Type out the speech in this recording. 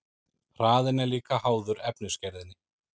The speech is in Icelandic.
Hraðinn er líka háður efnisgerðinni.